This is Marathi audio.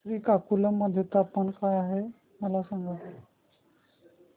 श्रीकाकुलम मध्ये तापमान काय आहे मला सांगा